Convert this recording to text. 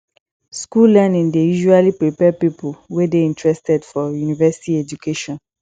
school learning dey usually prepare pipo wey dey interested for university education